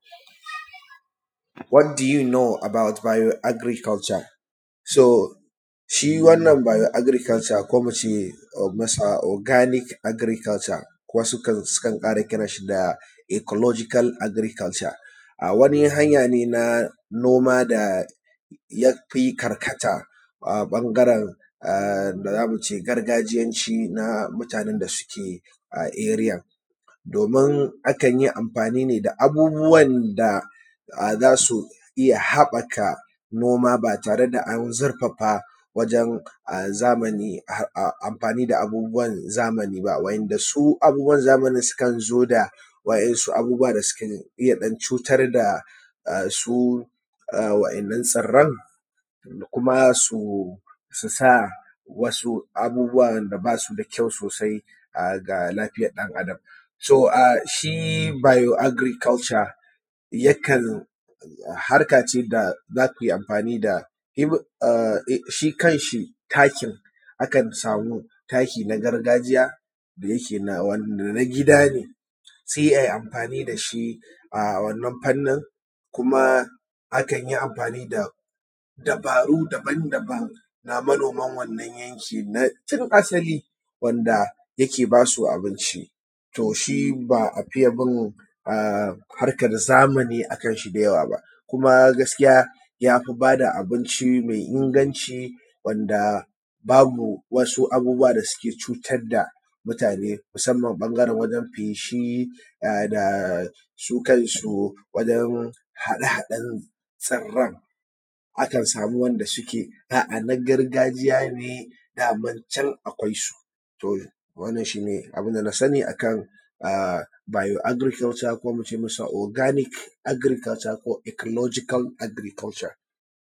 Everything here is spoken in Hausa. “What do you know about bio agriculture” “so” shi wannan “bio agriculture” ko muce masa “organic agriculture” wasu kan sukan ƙara kiran shi da “ecological agriculture” a wani hanya ne na noma da yafi karkata a ɓangaren da yamu ce gargajiyanci na mutane da suke a “area” domin akan yi amfani ne da abubuwan da a zasu iya haɓɓaka noma ba tare da an zurfafa wajen a zamani a amfani da abubuwan zamani ba wanda su abubuwan zamanin sukan zo da wa`yansu abubuwa da sukan iya ɗan cutar da a su wa`yannan tsiran kuma su sa wasu abubuwan da basu da kyau sosai a ga lafiyan ɗan Adam, so a shi bio agriculture yakan hark ace da za kuyi amfani da a shi kanshi takin akan samu taki na gargajiya da yake na wan na gida ne sai ai amfani da shi a wannan fannin kuma akan yi amfani da dabaru daban daban na manoman wannan yanki na tun asali wanda yake basu abinci,, to shi ba a fiye bin a harkan zamani akan shi da yawa ba kuma gaskiya yafi ba da abinci mai inganci wanda babu wasu abubuwa da yake cutar da mutane musamman ɓangaren wajen feshi a da su kansu wajen haɗe haɗen tsiran akan samu wanda suke a a na gargajiya ne daman can akwai su, to wannan shi ne abinda na sani akan a :bio agriculture ko muce masa organic agriculture ko ecological agriculture.”